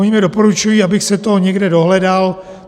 Oni mi doporučují, abych si to někde dohledal.